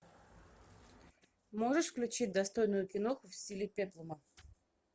можешь включить достойную киноху в стиле пеплума